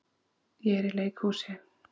Ég er í leikhúsi.